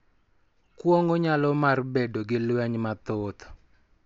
Kuong�o nyalo mar bedo gi lweny mathoth.